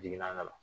Jigi na ka na